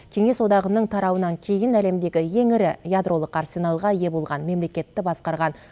кеңес одағының тарауынан кейін әлемдегі ең ірі ядролық арсеналға ие болған мемлекетті басқарған